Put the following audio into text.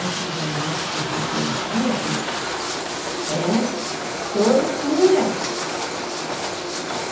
Antigamente, fisioterapia, bem, era tortura.